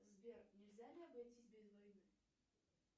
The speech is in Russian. сбер нельзя ли обойтись без войны